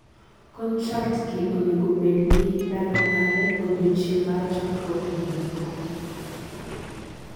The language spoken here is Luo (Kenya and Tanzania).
contracts gi onego bedgi: ndalo mare, odichieng' mar chakruok gi giko